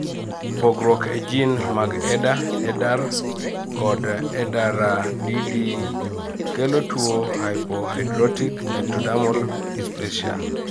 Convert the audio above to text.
pogruok e jin magEDA, EDAR kod EDARADDkelo tuo hypohidrotic ectodermal dysplacia